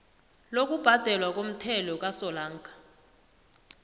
lokubhadelwa komthelo kasolanga